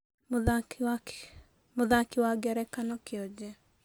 Mũthaki wa ngerekano kĩ onje.